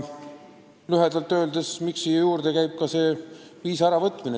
Aga miks on eelnõus ka punkt viisa tühistamise kohta?